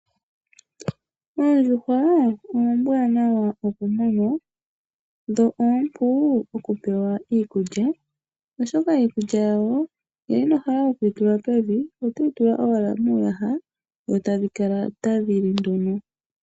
Oondjuhwa ombwanawa okumunwa dho opu okupewa iikulya oshoka iikulya yawo ngele inohala okuyitula pevi otoyitula owala muyaha dho tadhikala tadhili nduno.